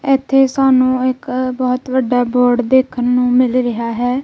ਇੱਥੇ ਸਾਨੂੰ ਇੱਕ ਬਹੁਤ ਵੱਡਾ ਬੋਰਡ ਦੇਖਣ ਨੂੰ ਮਿਲ ਰਿਹਾ ਹੈ।